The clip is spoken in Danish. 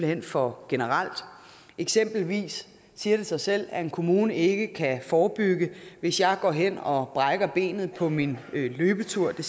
hen for generel eksempelvis siger det sig selv at en kommune ikke kan forebygge hvis jeg går hen og brækker benet på min løbetur